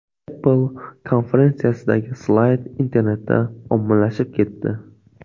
Apple konferensiyasidagi slayd internetda ommalashib ketdi.